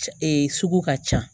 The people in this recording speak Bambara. sugu ka ca